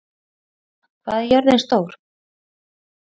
Úna, hvað er jörðin stór?